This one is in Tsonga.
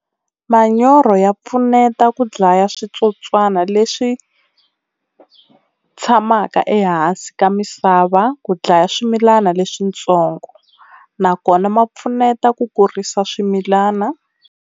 Manyoro ya pfuneta ku dlaya switsotswana leswi tshamaka ehansi ka misava, ku dlaya swimilani leswintsongo nakona ma pfuneta ku kurisa swimilana.